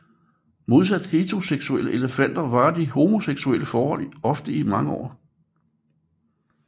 Modsat heteroseksuelle elefantpar varer de homoseksuelle forhold ofte i mange år